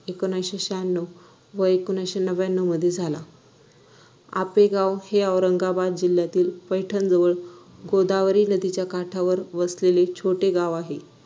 अकराशे शाण्णव व अकराशे नव्यान्नव मध्ये झाला आपेगाव हे औरंगाबाद जिल्ह्यातील पैठणजवळ गोदावरी नदीच्या काठावर वसलेले छोटे गाव आहे